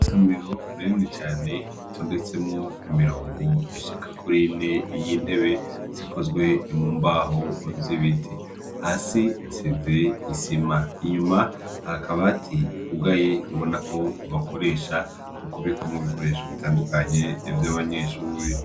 Isomero rinini cane ritondetsemwo imirongo ishika kuri ine y'intebe zikozwe mu mbaho z'ibiti, hasi hasize isima, inyuma hari akabati kugaye ubona ko bakoresha mu kubikamwo ibikoresho bitandukanye vy'abanyeshure.